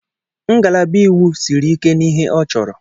Ngalaba Iwu siri ike na ihe ọ chọrọ.